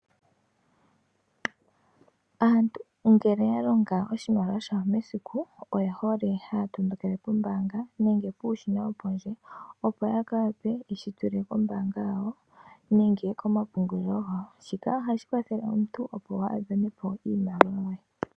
Aantu ngele ya longa oshimaliwa shawo mesiku oye hole haya tondokele kombaanga nenge puushina wopondje opo ya gandje yeshi tule kombaanga yawo nenge komapungulilo gawo. Shika ohashi kwathele omuntu opo kaa ha dhanepo iimaliwa ye.